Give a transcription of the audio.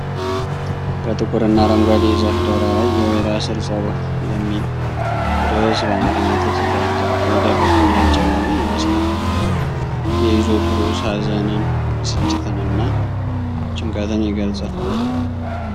በጥቁር እና አረንጓዴ የዛፍ ዳራ ላይ "የወይራ ስር ጸሎት" የሚል ርዕስ በአማርኛ ተጽፏል። ዛፉ የደረቀና የጨለመ ይመስላል። የይዘቱ ርዕስ ሀዘንን፣ ብስጭትንና ጭንቀትን ይገልጻል።